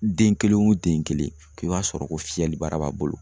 Den kelen wo den kelen i b'a sɔrɔ o fiyɛlibara b'a bolo